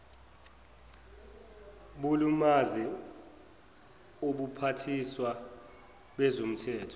bulimaze ubuphathiswa bezomthetho